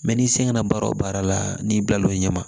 Mɛ n'i sen nana baara o baara la n'i bila l'o ɲɛ ma